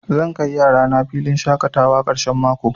Zan kai yarana filin shaƙatawa ƙarshen mako.